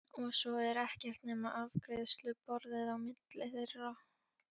Og svo er ekkert nema afgreiðsluborðið á milli þeirra.